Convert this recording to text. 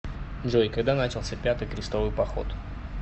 джой когда начался пятый крестовый поход